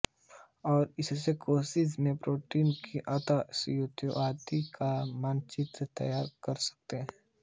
और इससे कोशिका में प्रोटीनों की अंतःस्थिओति का मानचित्र तैयार कर सकते हैं